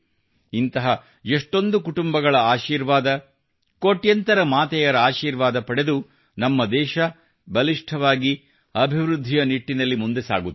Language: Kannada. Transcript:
ಇಂತಹ ಎಷ್ಟೊಂದು ಕುಟುಂಬಗಳ ಆಶೀರ್ವಾದ ಕೋಟ್ಯಂತರ ಮಾತೆಯರ ಆಶೀರ್ವಾದ ಪಡೆದು ನಮ್ಮದೇಶ ಬಲಿಷ್ಟವಾಗಿ ಅಬಿವೃದ್ಧಿಯ ನಿಟ್ಟಿನಲ್ಲಿ ಮುಂದೆ ಸಾಗುತ್ತಿದೆ